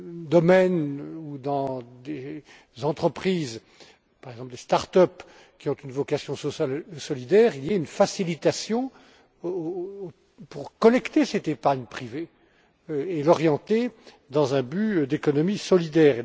domaine ou dans des entreprises par exemple, des start up qui ont une vocation sociale solidaire, il y ait une facilitation pour collecter cette épargne privée et l'orienter dans un but d'économie solidaire.